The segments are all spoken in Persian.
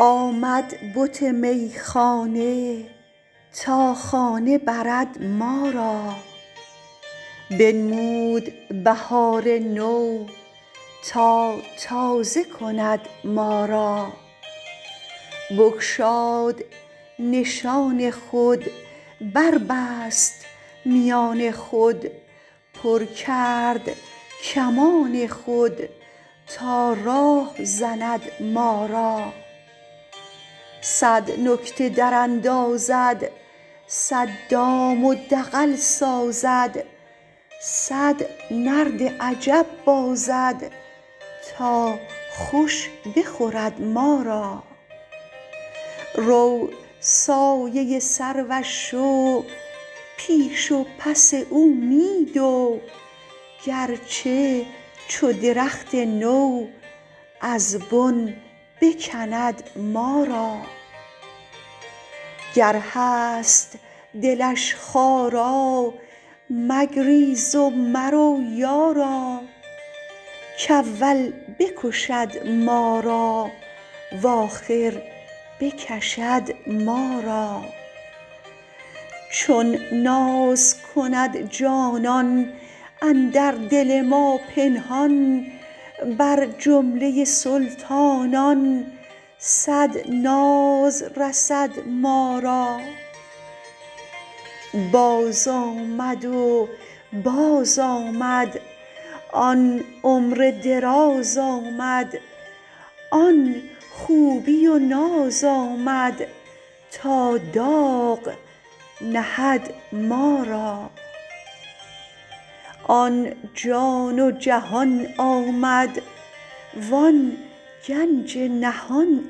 آمد بت میخانه تا خانه برد ما را بنمود بهار نو تا تازه کند ما را بگشاد نشان خود بربست میان خود پر کرد کمان خود تا راه زند ما را صد نکته دراندازد صد دام و دغل سازد صد نرد عجب بازد تا خوش بخورد ما را رو سایه سروش شو پیش و پس او می دو گرچه چو درخت نو از بن بکند ما را گر هست دلش خارا مگریز و مرو یارا کاول بکشد ما را و آخر بکشد ما را چون ناز کند جانان اندر دل ما پنهان بر جمله سلطانان صد ناز رسد ما را بازآمد و بازآمد آن عمر دراز آمد آن خوبی و ناز آمد تا داغ نهد ما را آن جان و جهان آمد وان گنج نهان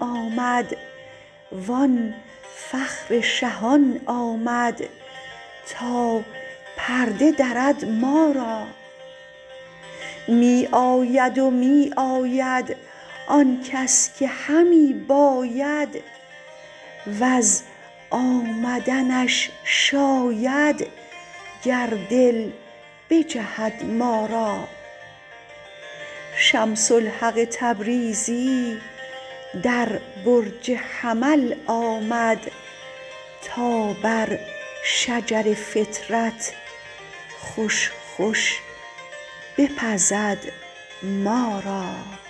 آمد وان فخر شهان آمد تا پرده درد ما را می آید و می آید آن کس که همی باید وز آمدنش شاید گر دل بجهد ما را شمس الحق تبریزی در برج حمل آمد تا بر شجر فطرت خوش خوش بپزد ما را